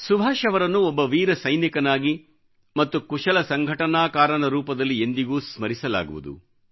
ಸುಭಾಷ್ ಅವರನ್ನು ಒಬ್ಬ ವೀರ ಸೈನಿಕನಾಗಿ ಮತ್ತು ಕುಶಲ ಸಂಘಟನಾಕಾರನ ರೂಪದಲ್ಲಿ ಎಂದಿಗೂ ಸ್ಮರಿಸಲಾಗುವುದು